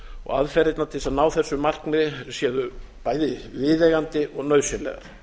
og aðferðirnar til þess að ná þessu markmiði séu bæði viðeigandi og nauðsynlegar